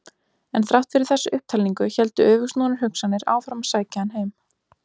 En þrátt fyrir þessa upptalningu héldu öfugsnúnar hugsanir áfram að sækja hann heim.